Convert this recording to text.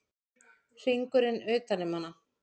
Hringurinn utan um hana.